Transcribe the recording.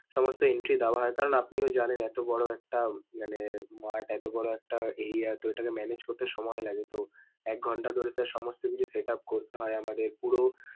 সমস্ত entry দেওয়া হয় কারণ আপনিও জানেন এতো বড় একটা মানে mart এতো বড় একটা area তো এটাকে manage করতে সময় লাগে তো একঘন্টা ধরে তার সমস্ত কিছু setup করতে হয়, আমাদের পুরো।